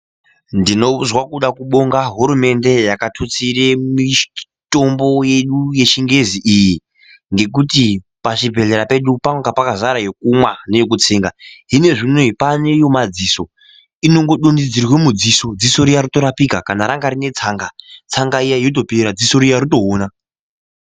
Ndinozwe kude kubonga hurumende yakatutsire mitombo yedu yechingezi iyi ngekuti pazvibhedhlera pedu panga pakazara yekumwa neyekutsenga hino zvinezvi unou paane yemadziso inongodondedzerwa mudziso dziso riya rotorapika kana ranga rine tsanga tsanga iya yotopera dziso riya rotoona.